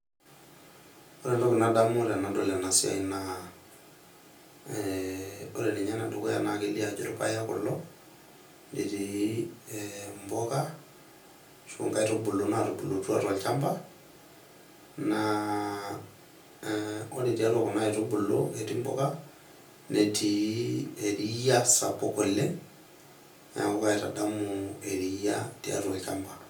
Ore entoki nadamu tenadol ena siai naa ore ninye ene dukuya naa kelioo ajo irpaek kulo , netii mpuka ashu nkaitubulu natubulutua tolchamba , naa ore tiatua kuna aitubulu ketii mpuka ,netii eria sapuk oleng ,niaku kaitadamu eriaa tiatua olchamba.